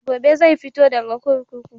Gobe zai fito daga kurkuku.